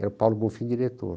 Era o Paulo Bonfim diretor.